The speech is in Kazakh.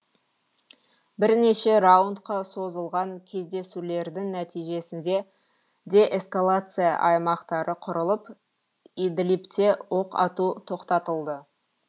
бірнеше раундқа созылған кездесулердің нәтижесінде деэскалация аймақтары құрылып идлибте оқ ату тоқтатылды